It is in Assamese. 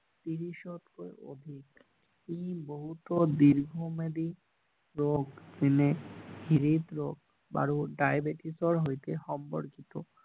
ত্ৰিশ তকৈ অধিক ই বহুতো দীৰ্ঘ ম্যাদি ৰোগ যেনে হৃদ ৰোগ আৰু ডাইবেতিছৰ সৈতে সম্পৰ্কিত